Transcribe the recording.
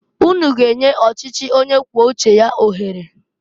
Unu g'enye ọchichi onye kwuo uche ya ohere!